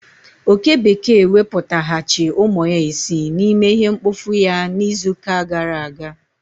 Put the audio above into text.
Oke bekee wepụtaghachi umu ya isii na ime ihe mkpofu ya na izu ka gara aga